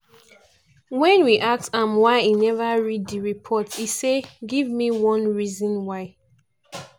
wen we ask am why e neva read di reports e say: "give me one (reason why)